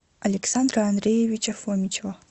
александра андреевича фомичева